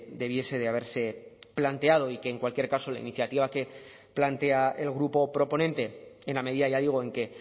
debiese de haberse planteado y que en cualquier caso la iniciativa que plantea el grupo proponente en la medida ya digo en que